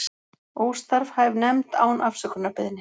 Óstarfhæf nefnd án afsökunarbeiðni